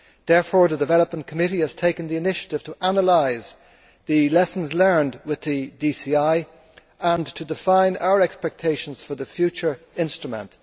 Therefore, the Committee on Development has taken the initiative to analyse the lessons learnt with the DCI and to define our expectations for the future instrument.